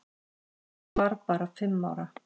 Hún var bara fimm ára.